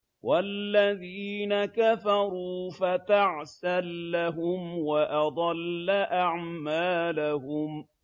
وَالَّذِينَ كَفَرُوا فَتَعْسًا لَّهُمْ وَأَضَلَّ أَعْمَالَهُمْ